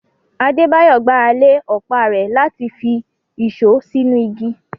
Adebayo gbára lé ọ̀pá rẹ̀ láti fi ìṣó sínú igi.